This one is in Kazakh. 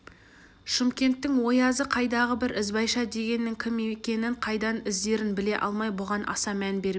шымкенттің оязы қайдағы бір ізбайша дегеннің кім екенін қайдан іздерін біле алмай бұған аса мән бермей